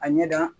A ɲɛ da